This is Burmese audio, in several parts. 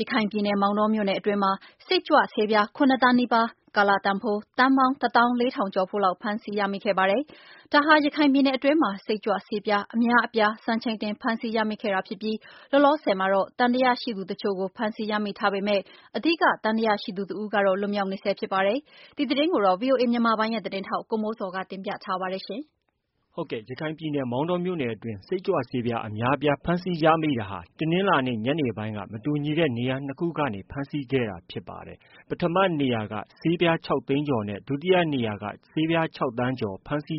ရခိုင်ပြည်နယ် မောင်တောမြို့နယ်အတွင်းမှာ စိတ်ကြွဆေးပြား ၇သန်းနီးပါး ကာလတန်ဖိုး သန်းပေါင်း တသောင်း ၄ထောင်ကျော်ဖိုးလောက် ဖမ်းဆီးရမိခဲ့ပါတယ်။ ဒါဟာ ရခိုင်ပြည်နယ်အတွင်းမှာ စိတ်ကြွဆေးပြား အများအပြားကို စံချိန်တင်ဖမ်းဆီးရမိခဲ့ဖြစ်ပြီး လောလောဆည်မှာတော့ သံသယရှိသတချို့ကို ဖမ်းဆီးရမိထားပေမယ့် အဓိက သံသယရှိသူတဦးကတော့ လွတ်မြောက်နေဆဲဖြစ်ပါတယ်။ ဒီသတင်းကိုတော့ ဗွီအိုအေမြန်မာပိုင်းရဲ့ သတင်းထောက် ကိုမိုးဇော်က တင်ပြထားပါတယ်။ မောင်တောမြို့နယ်အတွင်း စိတ်ကြွဆေးပြားအများအပြား ဖမ်းဆီးရမိမှုဟာ တနင်္လာနေ့ ညနေပိုင်းက မတူညီတဲ့နေရာ ၂နေရာကနေ ဖမ်းဆီးခဲ့တာဖြစ်ပါတယ်။ ပထမနေရာက ဖမ်းဆီးရမိမှုက ဆေးပြား ၆သိန်းကျော်နဲ့ ဒုတိယနေရာက ၆ သန်းကျော်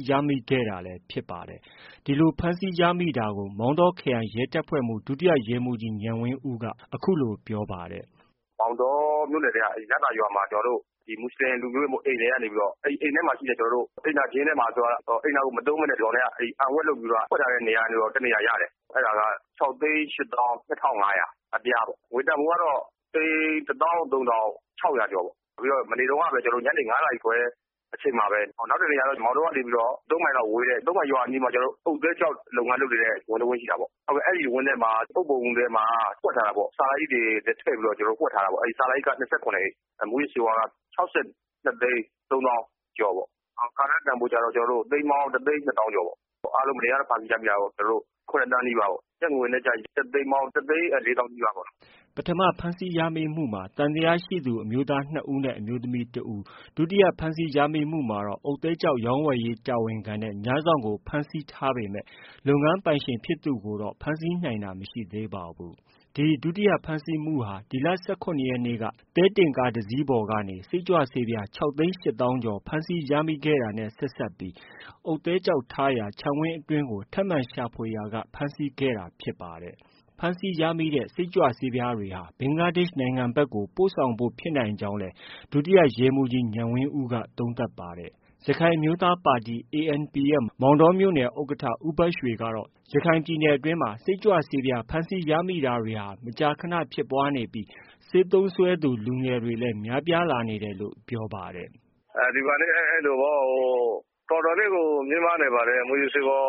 ရမိခဲ့တာလည်းဖြစ်ပါတယ်။ ဒီလို ဖမ်းဆီးရမိတာကို မောင်တောခရိုင်ရဲတပ်ဖွဲ့မှူး ဒုတိယရဲမှုးကြီး ဉာဏ်ဝင်းဦး က အခုလို ပြောပါတယ်။ “မောင်တောမြို့နယ်ထဲက လသာရွာမှာ မွတ်ဆလင်အိမ်ထဲကနေပြီးတော့ အိမ်ထဲမှာရှိတဲ့ အိမ်သာကျင်းထဲမှာ အိမ်သာကိုမသုံးပဲနဲ့ အန်ဝှက်လုပ်ပြီးတော့ ဖွက်ထားတဲ့နေရာကနေ တနေရာရတယ် အဲဒါကတော့ ၆ သိန်း ၈ သောင်း ၂၅၀၀ အပြားပေါ့ ။ ငွေတန်ဖိုးကတော့ သိန်း ၁ သောင်း ၃ ထောင် ၆၀၀ ကျော်ပေါ့။မနေ့တုန်းကပဲ ကျနော်တို့ ၅ နာရီခွဲအချိန်မှာပဲ ၊ နောက်တနေရာကတော့ မောင်တောကနေပြီးတော့ ၃ မိုင်လောက်ဝေးတဲ့ သုံးမိုင်ရွာအနီးမှာ အုတ်သဲ ကျောက်လုပ်ငန်းလုပ်နေတဲ့ ဝင်းတဝင်းရှိတာပေါ့။ အဲဒီဝင်းထဲက အုတ်ပုံမှာ ဖွက်ထားတာပေါ့ ဆာလာအိတ်တွေနဲ့ ဖွက်ထားတာပေါ့၊ ဆာလာအိတ်က ၂၇ အိတ် မှုးယစ်ဆေးဝါးက ၆၂ သိန်း ၃ သောင်းကျော် ပေါ့ ၊ ကာလတန်ဖိုးကတော့ သိန်းပေါင်း ၁ သိန်း ၂ သောင်းကျော်ပေါ့။ အားလုံး မနေ့ကဟာနဲ့ဆိုရင် ၇ သန်းနီးပါးပေါ့၊ ကျပ်ငွေနဲ့ဆိုရင် ကျပ်သိန်းပေါင်း ၁ သိန်း လေးသောင်းနီးပါးပေါ့။” ပထမဖမ်းဆီးရမိမှုမှာ သံသယရှိသူ အမျိုးသား၂ ဦးနဲ့ အမျိုးသမီး ၁ ဦး၊ ဒုတိယ ဖမ်းဆီးရမိမှုမှာတော့ အုတ်သဲကျောက်ရောင်းဝယ်ရေးတာဝန်ခံနဲ့ ညစောင့်ကို ဖမ်းဆီးထားပေမဲ့ လုပ်ငန်း ပိုင်ရှင်ဖြစ်သူကိုတော့ ဖမ်းဆီးနိုင်တာ မရှိသေးပါဘူး။ ဒုတိယ ဖမ်းဆီးမှုဟာ ဒီလ ၁၇ရက်နေ့က သဲကားတစီးပေါ်ကနေ စိတ်ကြွဆေးပြား ၆သိန်း၈သောင်းကျော် ဖမ်းဆီးရမိခဲ့တာနဲ့ ဆက်စပ်ပြီး အုတ်သဲကျောက်ထားရာ ခြံဝင်းအတွင်းကို ထပ်မံရှာဖွေဖမ်းဆီးခဲ့တာဖြစ်ပါတယ်။ ဒီဖမ်းဆီးရမိတဲ့ စိတ်ကြွဆေးပြားတွေဟာ ဘင်္ဂလားဒေ့ရှ်နိုင်ငံဘက်ကို ပို့ဆောင်ဖို့ ဖြစ်နိုင်ကြောင်းလည်း ဒုတိယရဲမှုးကြီး ဉာဏ်ဝင်းဦး က သုံးသပ်ပါတယ်။ ရခိုင်အမျိုးသားပါတီ ANP ရဲ့ မောင်တောမြို့နယ် ဥက္ကဌ ဦးဘရွှေကတော့ ရခိုင်ပြည်နယ်အတွင်းမှာ စိတ်ကြွဆေးပြားဖမ်းဆီးရမိတာတွေဟာ မကြာခနဖြစ်ပွားနေပြီး ဆေးသုံးစွဲသူ လူငယ်တွေလည်း များပြားလာနေတယ်လို့ ပြောပါတယ်။ “ဒီမှာအဲလိုပေါ့ တော်တော်လေးကို မြင့်မားနေပါတယ်။ မူးယစ်ဆေးဝါး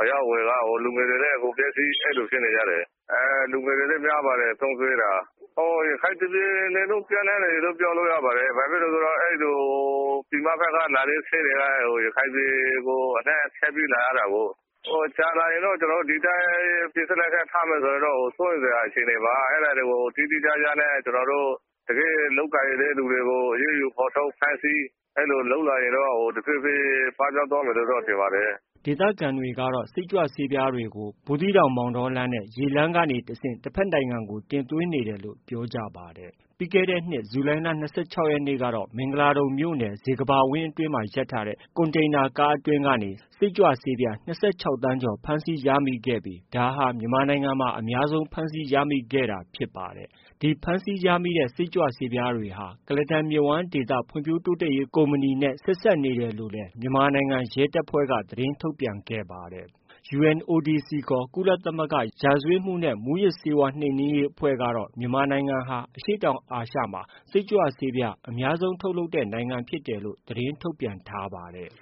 အရောင်းအဝယ်ကတော့ ၊ လူငယ်တွေလည်း အကုန်ပျက်စီး အဲဒီလိုဖြစ်နေ ကြတယ်။ သုံးစွဲတာ လူငယ်တွေများပါတယ်။ ရခိုင်ပြည်နယ် တခုလုံးပျံနှံ့နေတယ် လို့ပြောလို့ရပါတယ်။ ဘာဖြစ်လို့လဲဆိုတော့ ပြင်ပဘက်ကလာတဲ့ဟာတွေက ရခိုင်ပြည်နယ်ကို ဖြတ်ပြီးလာရတာကို။ ကြာလာရင်တော့ ဒီအတိုင်း ပစ်စလက်ခတ် ထားမယ်ဆိုရင်တော့ စိုးရိမ်စရာအခြေအနေပါ။ ဒါတွေကို သေသေချာချာ လုပ်ကိုင်တဲ့သူတွေကို အရေးယူဖော်ထုတ် ဖမ်းဆီး လုပ်ရင်တော့ တဖြေးဖြေး ပပျောက်သွားမယ်လို့ ထင်ပါတယ်။” ဒေသခံတွေကတော့ စိတ်ကြွဆေးပြားတွေဟာ ဘူးသီးတောင်- မောင်တောလမ်း နဲ့ ရေလမ်းကနေတဆင့် တဖက်နိုင်ငံကို တင်သွင်းနေတယ်လို့ လည်း ပြောကြ ပါတယ်။ ပြီးခဲ့တဲ့နှစ် ဇူလိုင်လ ၂၆ရက်နေ့က မင်္ဂလာဒုံမြို့နယ် ဇေကမ္ဘာဝင်းအတွင်းမှ ရပ်ထားတဲ့ ကွန်တိန်နာကားအတွင်းကနေ စိတ်ကြွဆေးပြား ၂၆သန်းကျော် ဖမ်းဆီးရမိခဲ့ပြီး ဒါဟာ မြန်မာနိုင်ငံမှာ အများဆုံးဖမ်းဆီးရမိခဲ့တာဖြစ်ပါတယ်။ ဒီဖမ်းဆီးရမိတဲ့ စိတ်ကြွဆေးပြားတွေဟာ ကုလားတန်မြစ်ဝှမ်းဒေသ ဖွံ့ဖြိုးတိုးတက်ရေးကုမ္ပဏီနဲ့ ဆက်စပ်နေတယ်လို့လည်း မြန်မာနိုင်ငံ ရဲတပ်ဖွဲ့က သတင်းထုတ်ပြန်ခဲ့ပါတယ်။ UNODC ကုလသမဂ္ဂရာဇဝတ်မှုနဲ့ မူးယစ်ဆေးဝါးနှိမ်နင်းရေး အဖွဲ့ကတော့ မြန်မာနိုင်ငံဟာ အရှေ့တောင် အာရှမှာ စိတ်ကြွဆေးဝါးတွေ အများဆုံး ထုတ်လုပ်တဲ့နိုင်ငံဖြစ်တယ်လို့ ထုတ်ပြန်ထားပါတယ်။